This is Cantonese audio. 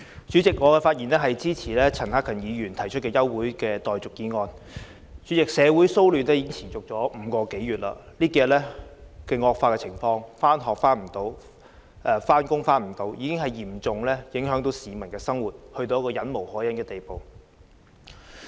主席，我發言支持陳克勤議員提出的休會待續議案。主席，社會騷亂已經持續5個多月，這數天情況惡化，市民無法上學、上班，生活受嚴重影響，情況已到了一個忍無可忍的地步。